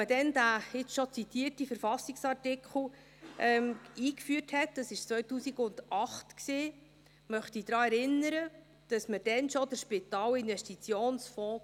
Als man den hier schon zitierten KV-Artikel einführte, dies war 2008, hatte man damals schon den Spitalinvestitionsfonds;